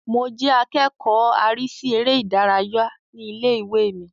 Mo jẹ́ akẹ́kọ̀ọ́ arísí eré ìdárayá ní ilé-ìwé mi